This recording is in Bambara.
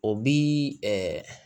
O bi